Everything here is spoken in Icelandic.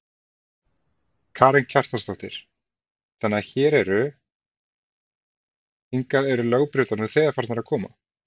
Karen Kjartansdóttir: Þannig að hér eru, hingað eru lögbrjótar nú þegar farnir að koma?